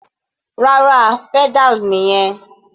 Rárá, pedal nìyẹn.